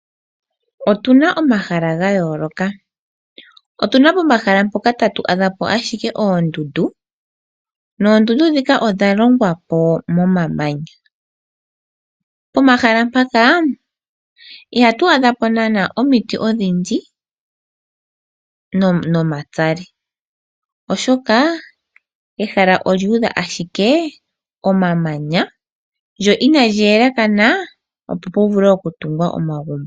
Otuna omahala ga yoloka, otuna pomahala mpoka tatu adhapo ashike oondundu. Noondundu dhika odha longwapo momamanya, pomahala mpaka ihatu adhapo nana omiti odhindji nomatsali oshoka ehala olyu udha ashike omamanya lyo inali elekana opo puvulwe oku tungwa omagumbo.